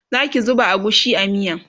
Zaki zuba agushi a miyan?